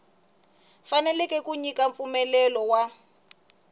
fanekele ku nyika mpfumelelo wa